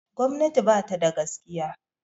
Gwamnati ba tada gaskiya